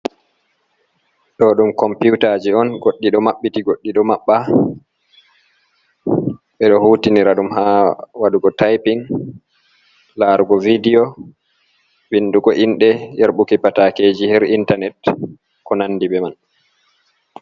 Ɗo ɗum komputaji on. Goɗɗi ɗo maɓɓiti, goɗɗi ɗo maɓɓa. Ɓeɗo hutinira ɗum haa waɗugo taypin, larugo vidiyo, vindugo inɗe, yarɓuki patakeji haa intanet ko nandi be man.